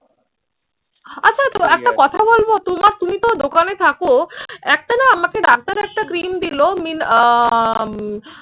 আচ্ছা তো একটা কথা বলবো, তোমার তুমি তো দোকানে থাকো। একটা না আমাকে ডাক্তার একটা cream দিলো মিন আহ